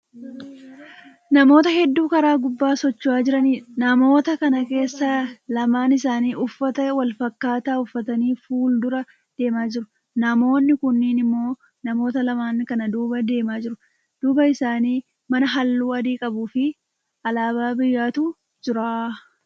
Namoota heddu karaa gubbaa socho'aa Jiraniidha. namoota Kana keessa lamaan isaanii Uffata wanfakkaataa uffatanii fuuldura deemaa jiru. namoonni kuunnin immoo namoota lamaan kana duuba deemaa jiru. duuba isaanii mana halluu adii qabuufi alaabaa biyyaatu Jira.